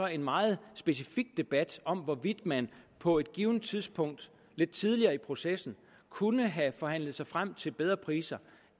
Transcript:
en meget specifik debat om hvorvidt man på et givent tidspunkt lidt tidligere i processen kunne have forhandlet sig frem til bedre priser